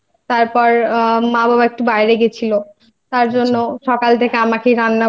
তারপর মা বাবা একটু বাইরে গেছিল আচ্ছা তার জন্য সকাল